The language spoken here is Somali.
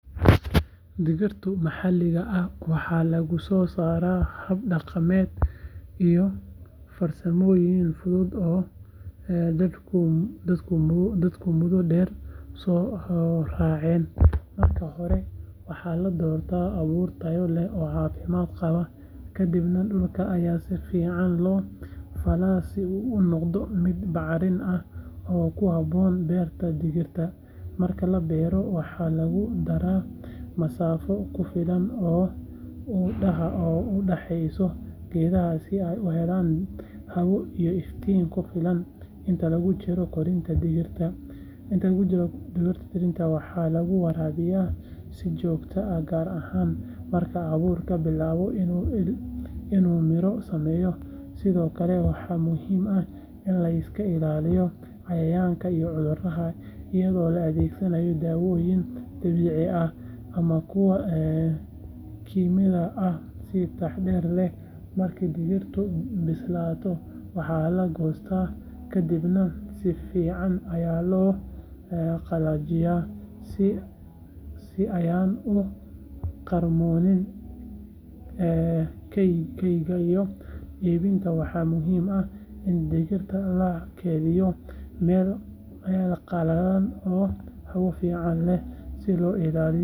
Digirtu maxaliga ah waxaa lagu sosara hab daqameed iyo farsamoyin guud oo dadku mudo deer so racen marka hore waxaa ladorta abur tayo leh kadibna dulka aya si fican lo fala mudo miid bacrimin ah si geedahu u helan bacrimin in laiska ilaliyo cayayanka iyaga oo la adhegsanaya dawoyin ama kuwa kinyadha ah, waxaa muhiim ah in digirta lakedhiyo waxaa oo qalalan si lo ilaliyo.